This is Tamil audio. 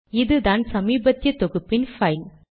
இதுதான் சமீபத்திய தொகுப்பின் பைல்